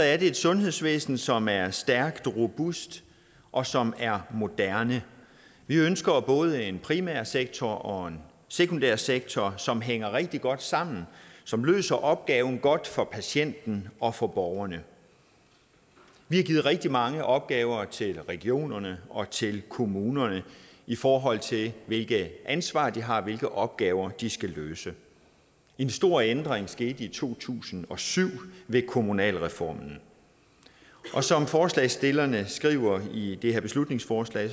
er det et sundhedsvæsen som er stærkt robust og som er moderne vi ønsker både en primærsektor og en sekundærsektor som hænger rigtig godt sammen og som løser opgaven godt for patienterne og for borgerne vi har givet rigtig mange opgaver til regionerne og til kommunerne i forhold til hvilke ansvar de har og hvilke opgaver de skal løse en stor ændring skete i to tusind og syv med kommunalreformen og som forslagsstillerne skriver i det her beslutningsforslag